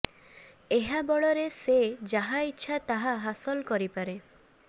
ଏହା ବଳରେ ସେ ଯାହା ଇଚ୍ଛା ତାହା ହାସଲ କରିପାରେ